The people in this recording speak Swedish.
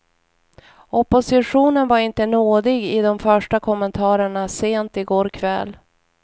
Oppositionen var inte nådig i de första kommentarerna sent i går kväll.